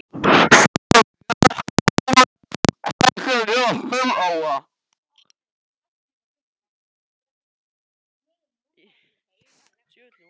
Þangað hef ég ekki komið síðan ég var fimm ára.